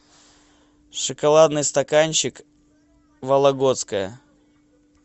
шоколадный стаканчик вологодское